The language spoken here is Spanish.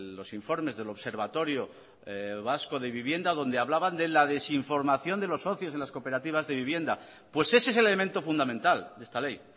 los informes del observatorio vasco de vivienda donde hablaban de la desinformación de los socios de las cooperativas de vivienda pues ese es el elemento fundamental de esta ley